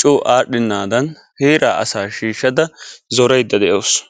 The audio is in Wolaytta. coo adhdhenaadan heeraa asaa shiishshada zoraydda de'awusu.